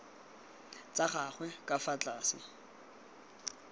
tsa gagwe ka fa tlase